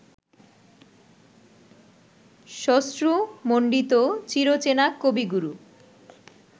শ্মশ্রুমণ্ডিত চিরচেনা কবিগুরু